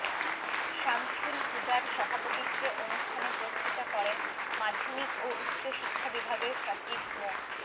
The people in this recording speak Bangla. শামছুল হুদার সভাপতিত্বে অনুষ্ঠানে বক্তৃতা করেন মাধ্যমিক ও উচ্চ শিক্ষা বিভাগের সচিব মো